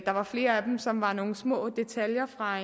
der var flere af dem som var nogle små detaljer fra